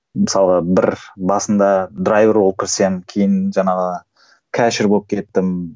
мысалға бір басында болып кірсем кейін жаңағы болып кеттім